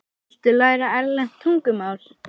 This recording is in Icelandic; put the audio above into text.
Viltu læra erlent tungumál?